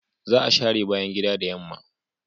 Za a share bayan gida da yamma.